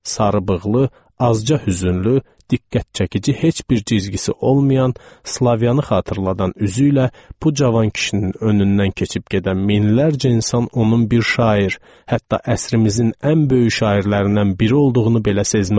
Sarıbığlı, azca hüzünlü, diqqət çəkici heç bir cizgisi olmayan, Slavyanı xatırladan üzü ilə bu cavan kişinin önündən keçib gedən minlərcə insan onun bir şair, hətta əsrimizin ən böyük şairlərindən biri olduğunu belə sezməzdi.